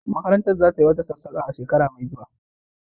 Makarantar za tayi wata sassaƙa a shekara mai zuwa.